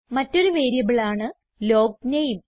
മറ്റൊരു വേരിയബിളാണ് ലോഗ്നേം